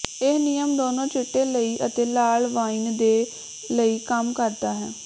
ਇਹ ਨਿਯਮ ਦੋਨੋ ਚਿੱਟੇ ਲਈ ਅਤੇ ਲਾਲ ਵਾਈਨ ਦੇ ਲਈ ਕੰਮ ਕਰਦਾ ਹੈ